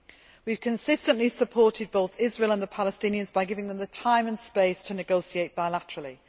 The EU has consistently supported both Israel and the Palestinians by giving them the time and space to negotiate bilaterally.